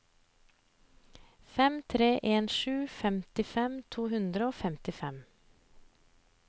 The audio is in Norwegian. fem tre en sju femtifem to hundre og femtifem